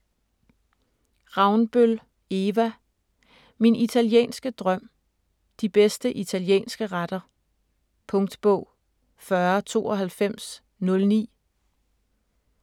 5. Ravnbøl, Eva: Min italienske drøm: de bedste italienske retter Punktbog 409209